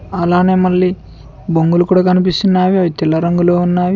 అలానే మళ్లీ బొంగులు కూడా కనిపిస్తున్నావి అవి తెల్ల రంగులో ఉన్నావి.